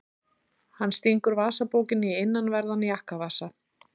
Hann stingur vasabókinni í innanverðan jakkavasa.